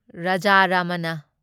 Raja Ramanna